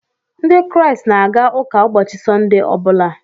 Ndị Kraịst na-aga ụka ụbọchị Sọnde ọbụla